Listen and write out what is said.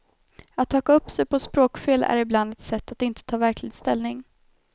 Att haka upp sig på språkfel är ibland ett sätt att inte ta verklig ställning.